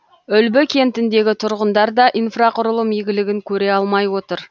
үлбі кентіндегі тұрғындар да инфрақұрылым игілігін көре алмай отыр